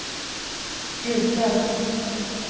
brukar